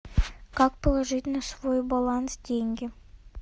как положить на свой баланс деньги